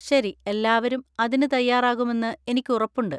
ശരി, എല്ലാവരും അതിന് തയ്യാറാകുമെന്ന് എനിക്ക് ഉറപ്പുണ്ട്.